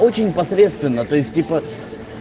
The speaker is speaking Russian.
очень посредственный то есть типа